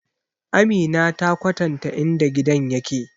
Amina ta kwatanta in da gidan yake